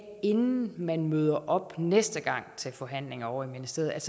inden man møder op næste gang til forhandlinger ovre i ministeriet